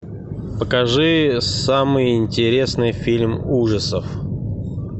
покажи самый интересный фильм ужасов